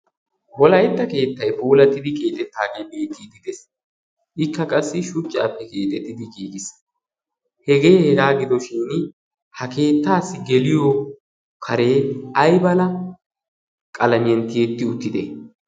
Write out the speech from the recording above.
bolaitta keettai poolatidi qiixettaa gee biittiididees. ikka qassi shuccaappe keexettidi giigi qiis. hegee hegaa gidoshin ha keettaassi geliyo karee aiala qalamiyenttiyetti uttide?